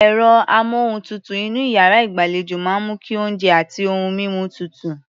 Ẹ̀rọ-amóhùntutù inú iyàrá ìgbàlejò máa ń mú kí oúnjẹ àti ohun mímu tutù.